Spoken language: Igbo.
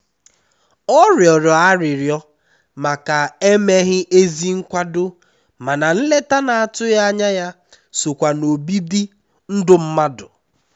ọ rịọrọ arịrịọ màkà emeghị ezi nkwado mana nleta n'atụghị ányá ya sokwa n'obibi ndụ mmadụ.